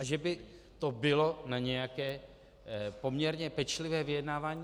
A že by to bylo na nějaké poměrně pečlivé vyjednávání.